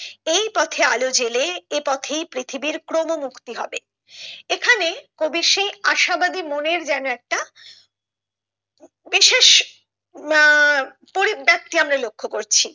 এই পথে আলো জ্বেলে এই পথেই পৃথিবীর ক্রম মুক্তি হবে এখানে কবির সেই আশাবাদী মনের যেন একটা বিশেষ উম পরিব্যাক্তি আমরা লক্ষ্য করছি।